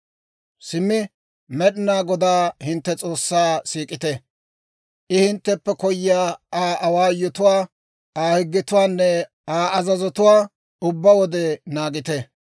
«Simmi Med'inaa Godaa hintte S'oossaa siik'ite; I hintteppe koyiyaa Aa awaayotuwaa, Aa higgetuwaanne Aa azazotuwaa, ubbaa wode naagite.